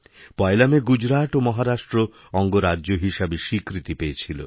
পয়লা মে গুজরাট ও মহারাষ্ট্রঅঙ্গরাজ্য হিসাবে স্বীকৃতি পেয়েছিল